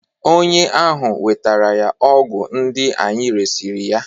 onye ahụ wetara ya ọgwụ ndị anyị resịrị ya